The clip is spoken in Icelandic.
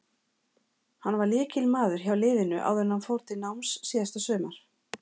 Hann var lykilmaður hjá liðinu áður en hann fór til náms síðasta sumar.